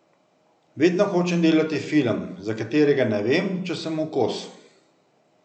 Vedno hočem delati film, za katerega ne vem, če sem mu kos.